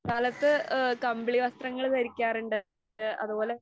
കാലത്ത് ആ കമ്പിളി വസ്ത്രങ്ങള് ധരിക്കാറുണ്ട്. ആ അതുപോലെ